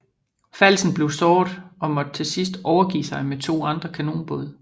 Falsen blev såret og måtte til sidst overgive sig med to andre kanonbåde